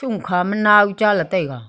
sho khama now chale taiga.